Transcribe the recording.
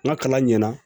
N ka kalan ɲɛna